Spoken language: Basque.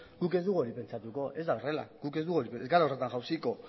guk ez dugu hori pentsatuko ez da horrela ez gara horretan jausiko